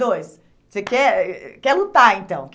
dois? Você quer eh quer lutar, então?